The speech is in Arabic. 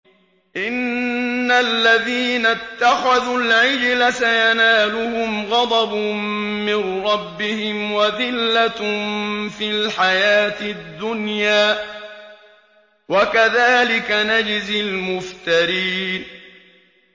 إِنَّ الَّذِينَ اتَّخَذُوا الْعِجْلَ سَيَنَالُهُمْ غَضَبٌ مِّن رَّبِّهِمْ وَذِلَّةٌ فِي الْحَيَاةِ الدُّنْيَا ۚ وَكَذَٰلِكَ نَجْزِي الْمُفْتَرِينَ